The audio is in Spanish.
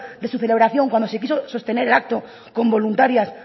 de su celebración cuando se quiso sostener el acto con voluntarias